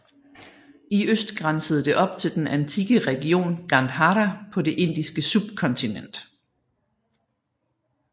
I øst grænsede det op til den antikke region Gandhara på det Indiske subkontinent